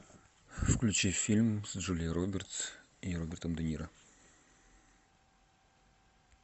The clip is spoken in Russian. включи фильм с джулией робертс и робертом де ниро